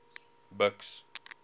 buks